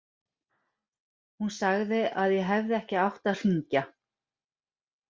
Hún sagði að ég hefði ekki átt að hringja.